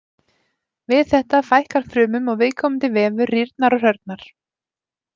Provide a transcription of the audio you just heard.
Við þetta fækkar frumum og viðkomandi vefur rýrnar og hrörnar.